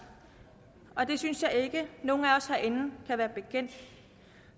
og det synes jeg ikke nogen af os herinde kan være bekendt